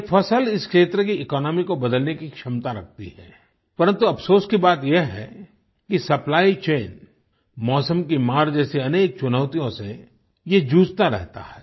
ये फसल इस क्षेत्र की इकोनॉमी को बदलने की क्षमता रखती है परन्तु अफ़सोस की बात ये है सप्लाई चैन मौसम की मार जैसे अनेक चुनौतियों से ये जूझता रहता है